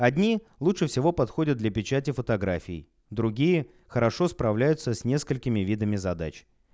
одни лучше всего подходят для печати фотографий другие хорошо справляются с несколькими видами задач